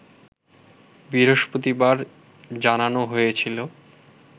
বৃহস্পতিবার জানানো হয়েছিল